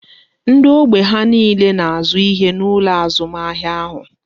Ndị ógbè ha niile na azụ ihe n'ụlọ azụmahịa ahụ